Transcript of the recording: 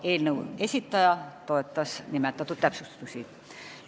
Eelnõu esitaja toetas nimetatud täpsustusi.